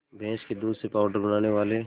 भैंस के दूध से पावडर बनाने वाले